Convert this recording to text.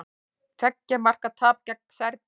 Tveggja marka tap gegn Serbum